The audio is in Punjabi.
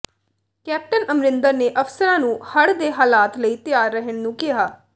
ਕੈਪਟਨ ਅਮਰਿੰਦਰ ਨੇ ਅਫਸਰਾਂ ਨੂੰ ਹੜ੍ਹ ਦੇ ਹਾਲਾਤ ਲਈ ਤਿਆਰ ਰਹਿਣ ਨੂੰ ਕਿਹਾ